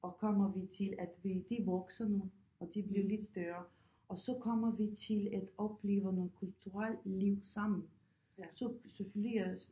Og kommer vi til at vide at de vokser nu og de bliver lidt større og så kommer vi til at opleve noget kulturelt liv sammen så selvfølgelig jeg øh